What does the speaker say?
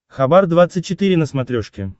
хабар двадцать четыре на смотрешке